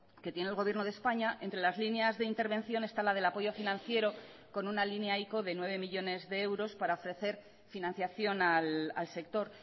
que tiene el gobierno de españa entre las líneas de intervención está la del apoyo financiero con una línea ico de nueve millónes de euros para ofrecer financiación al sector